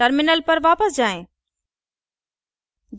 terminal पर वापस जाएँ